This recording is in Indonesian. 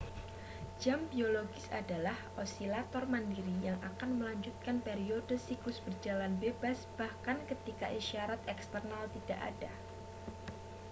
jam biologis adalah osilator mandiri yang akan melanjutkan periode siklus berjalan bebas bahkan ketika isyarat eksternal tidak ada